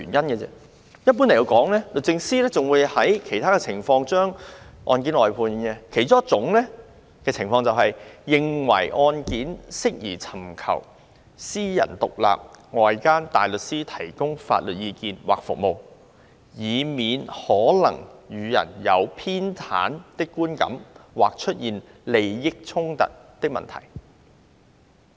一般來說，律政司還會在其他情況下將案件外判，其中一種情況是，律政司認為案件適宜尋求外間獨立大律師提供法律意見或服務，以免予人有偏袒的觀感或出現利益衝突的問題。